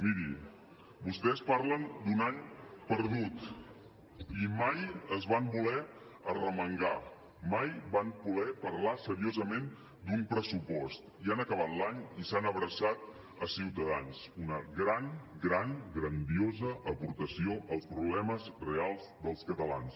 miri vostès parlen d’un any perdut i mai es van voler arremangar mai van voler parlar seriosament d’un pressupost i han acabat l’any i s’han abraçat a ciutadans una gran gran grandiosa aportació als problemes reals dels catalans